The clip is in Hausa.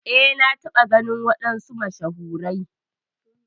Eh na taba ganin wadansu mashahurai.